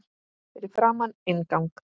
Fyrir framan inngang